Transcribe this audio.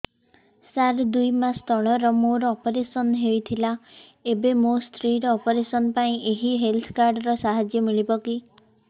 ସାର ଦୁଇ ମାସ ତଳରେ ମୋର ଅପେରସନ ହୈ ଥିଲା ଏବେ ମୋ ସ୍ତ୍ରୀ ର ଅପେରସନ ପାଇଁ ଏହି ହେଲ୍ଥ କାର୍ଡ ର ସାହାଯ୍ୟ ମିଳିବ କି